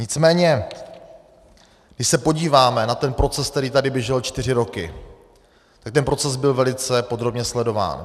Nicméně když se podíváme na ten proces, který tady běžel čtyři roky, tak ten proces byl velice podrobně sledován.